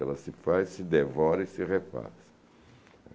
Ela se faz, se devora e se repassa.